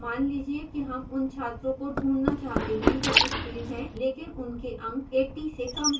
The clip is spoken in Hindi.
मान लीजिए कि हम उन छात्रों को ढूंढना चाहते हैं जो उत्तीर्ण हैं लेकिन उनके अंक 80 से कम हैं